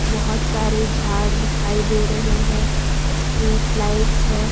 बहुत सारे झाड़ दिखाई दे रहे हैं स्ट्रीट लाइट्स हैं।